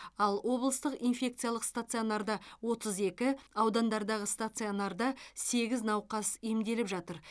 ал облыстық инфекциялық стационарда отыз екі аудандардағы стационарда сегіз науқас емделіп жатыр